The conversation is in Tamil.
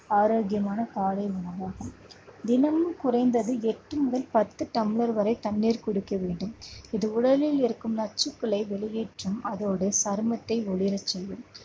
ஆரோக்கியமான காலை உணவாகும் தினமும் குறைந்தது எட்டு முதல் பத்து டம்ளர் வரை தண்ணீர் குடிக்க வேண்டும். இது உடலில் இருக்கும் நச்சுக்களை வெளியேற்றும் அதோடு சருமத்தை ஒளிரச் செய்யும்